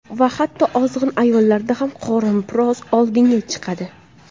Va hatto ozg‘in ayollarda ham qorin biroz oldinga chiqadi.